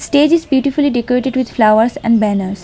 stage is beautifully decorated with flowers and banners.